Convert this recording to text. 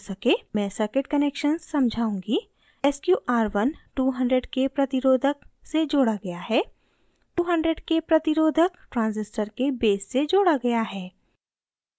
मैं circuit connections समझाऊँगी